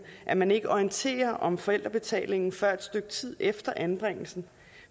at man ikke orienterer om forældrebetalingen før et stykke tid efter anbringelsen